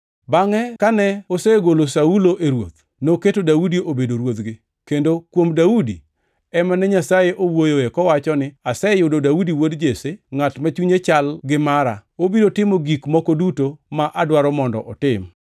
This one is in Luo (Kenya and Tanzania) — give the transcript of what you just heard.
Bangʼ kane osegolo Saulo e ruoth, noketo Daudi obedo ruodhgi, kendo kuom Daudi ema ne Nyasaye owuoyoe kowacho ni, ‘Aseyudo Daudi wuod Jesse, ngʼat ma chunye chal gi mara, obiro timo gik moko duto ma adwaro mondo otim.’